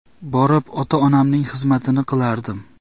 Borib ota-onamning xizmatini qilardim.